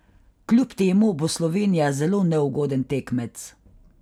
Kljub temu bo Slovenija zelo neugoden tekmec.